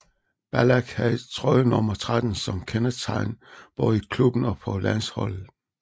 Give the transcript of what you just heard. Ballack har trøjenummer 13 som kendetegn både i klubben og på landsholdet